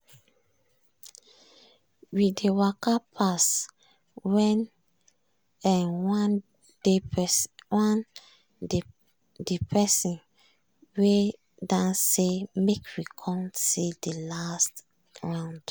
we dey waka pass when um one de person wey dance say make we come see de last round.